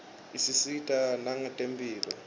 isisita nangetemphilo